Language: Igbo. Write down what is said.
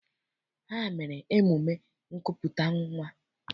Ha mere emume nkupụta nnwa.